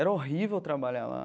Era horrível trabalhar lá.